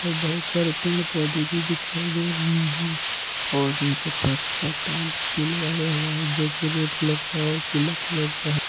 बहुत सारे पेड़ पौधे भी दिखाई दे रहे हैं और नीचे फर्श पर टाइल्स भी लगाया हुआ है जोकि रेड कलर का और पीला कलर का है।